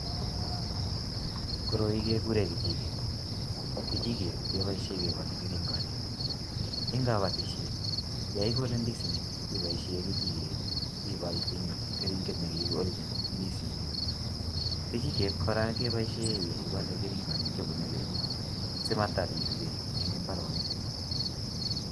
Koroi kekuren kejiket kejiket keboishen kebole keringoik en kobotishet yon ikole indisinik iboishen kejiket ibal keringet nekikoljin ndisinik. Kejiket Kora keboishen yon ibole keringet nebune beek simatalil beek en imbarenik.